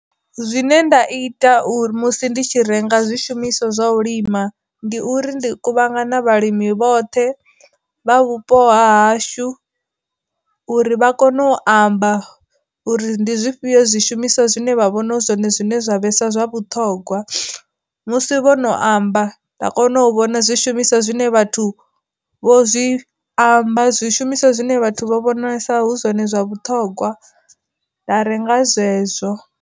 Zwine nda ita uri musi ndi tshi renga zwi shumiswa zwa u lima, ndi uri ndi kuvhangana vhalimi vhoṱhe vha vhupo hashu uri vha kone u amba uri ndi zwifhio zwi shumiswa zwine vha vhona zwone zwine zwa vhesa zwa vhuṱhogwa, musi vho no amba nda kona u vhona zwi shumiswa zwine vhathu vho zwi amba zwi shumiswa zwine vhathu vho vhonalesa hu zwone zwa vhuṱhogwa nda renga zwezwo.